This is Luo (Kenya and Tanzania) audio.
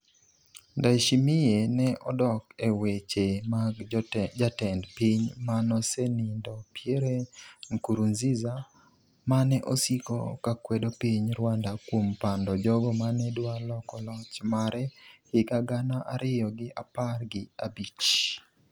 Ndayishimiye ne odok e weche mag jatend piny manosenindo Pierre Nkurunziza mane osiko kakwedo piny Rwanda kuom pando jogo mane dwa loko loch mare higa gana ariyo gi apar gi abich